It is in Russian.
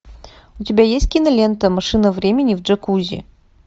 у тебя есть кинолента машина времени в джакузи